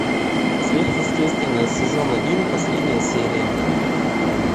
сверхъестественное сезон один последняя серия